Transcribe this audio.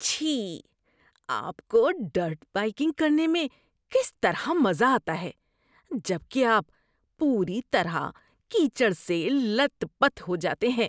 چھی۔ آپ کو ڈرٹ بائیکنگ کرنے میں کس طرح مزہ آتا ہے جبکہ آپ پوری طرح کیچڑ سے لت پت ہو جاتے ہیں؟